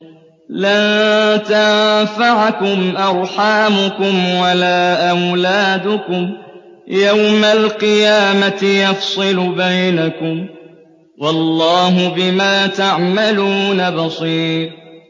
لَن تَنفَعَكُمْ أَرْحَامُكُمْ وَلَا أَوْلَادُكُمْ ۚ يَوْمَ الْقِيَامَةِ يَفْصِلُ بَيْنَكُمْ ۚ وَاللَّهُ بِمَا تَعْمَلُونَ بَصِيرٌ